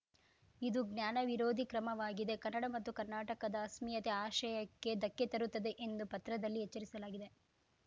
ಇದು ಜ್ಞಾನ ವಿರೋಧಿ ಕ್ರಮವಾಗಿದೆ ಕನ್ನಡ ಮತ್ತು ಕರ್ನಾಟಕದ ಅಸ್ಮಿತೆಯ ಆಶಯಕ್ಕೆ ಧಕ್ಕೆ ತರುತ್ತದೆ ಎಂದು ಪತ್ರದಲ್ಲಿ ಎಚ್ಚರಿಸಲಾಗಿದೆ